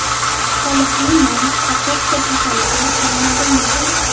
Qolipli non kartoshka kasaliga chalinadimi?.